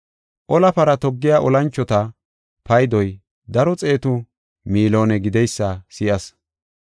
Ola para toggiya olanchota paydoy daro xeetu miloone gideysa si7as.